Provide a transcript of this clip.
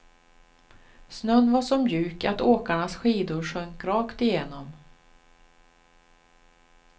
Snön var så mjuk att åkarnas skidor sjönk rakt igenom.